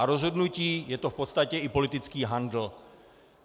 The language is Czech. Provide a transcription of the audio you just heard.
A rozhodnutí - je to v podstatě i politický handl.